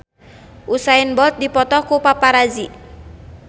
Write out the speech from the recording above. Usain Bolt dipoto ku paparazi